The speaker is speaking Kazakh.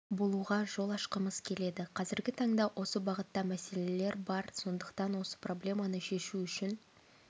болуға жол ашқымыз келеді қазіргі таңда осы бағытта мәселелер бар сондықтан осы проблеманы шешу үшін